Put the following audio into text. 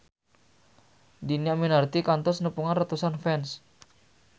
Dhini Aminarti kantos nepungan ratusan fans